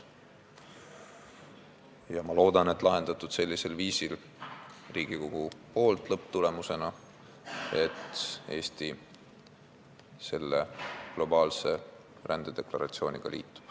Ja ma loodan, et lõpptulemusena lahendab Riigikogu selle nii, et Eesti liitub selle globaalse rändedeklaratsiooniga.